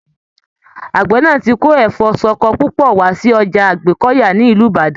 Àgbẹ náà tí kò Ẹfọ ṣọkọ púpọ̀ wá sí Ọjà Àgbẹ́kọ̀yà ni Ìlú Ìbàdàn.